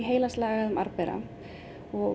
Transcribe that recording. æðum arfbera og